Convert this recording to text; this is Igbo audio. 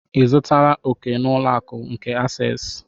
Ị zụtala òkè na ụlọ akụ nke asesị?